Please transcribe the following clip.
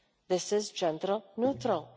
This is gender neutral.